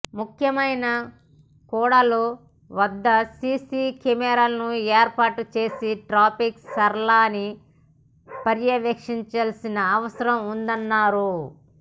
ముఖ్యమైన కూడళ్ల వద్ద సీసీ కెమెరాలను ఏర్పాటు చేసి ట్రాఫిక్ సరళీని పర్యవేక్షించాల్సిన అవసరం ఉందన్నారు